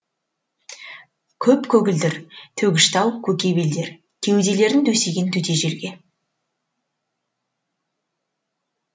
көп көгілдір төгіш тау көке белдер кеуделерін төсеген төте желге